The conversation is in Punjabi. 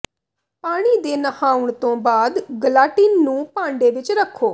ਪਾਣੀ ਦੇ ਨਹਾਉਣ ਤੋਂ ਬਾਅਦ ਗਲਾਟਿਨ ਨੂੰ ਭਾਂਡੇ ਵਿੱਚ ਰੱਖੋ